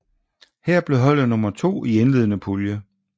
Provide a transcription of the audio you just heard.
Her blev holdet nummer to i indledende pulje